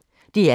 DR P1